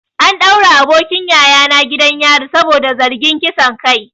An daure abokin yayana gidan yari saboda zargin kisan kai.